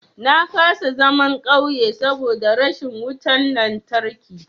Na kasa zaman ƙauye saboda rashin wutan lantarki.